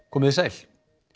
komiði sæl